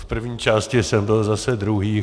V první části jsem byl zase druhý.